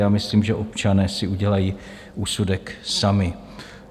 Já myslím, že občané si udělají úsudek sami.